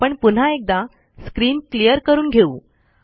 आपण पुन्हा एकदा स्क्रीन क्लियर करून घेऊ